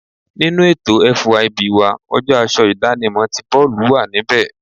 Nínú ètò FYB wa, ọjọ́ aṣọ idanimo tí boolu wà níbẹ̀.